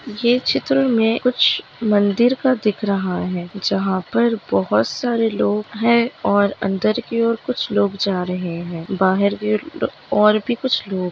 ये चित्र मे कुछ मंदिर का दिख रहा है जहा पर बहुत सारे लोग है और अंदर की और कुछ लोग जा र हैं है बाहर की अर-- और भी कुछ लोग --